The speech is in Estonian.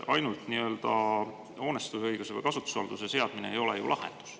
Ainult nii-öelda hoonestusõiguse või kasutusvalduse seadmine ei ole ju lahendus.